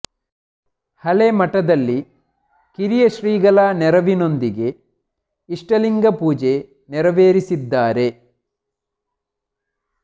ಹಳೆ ಮಠದಲ್ಲಿ ಕಿರಿಯ ಶ್ರೀಗಳ ನೆರವಿನೊಂದಿಗೆ ಇಷ್ಟಲಿಂಗ ಪೂಜೆ ನೆರವೇರಿಸಿದ್ದಾರೆ